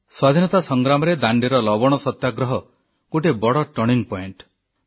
ସ୍ୱାଧୀନତା ସଂଗ୍ରାମରେ ଦାଣ୍ଡିର ଲବଣ ସତ୍ୟାଗ୍ରହ ଗୋଟିଏ ବଡ଼ ଟର୍ଣ୍ଣିଂ ପଏଣ୍ଟ